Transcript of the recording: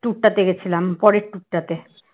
tour টাতে গেছিলাম পরের tour টাতে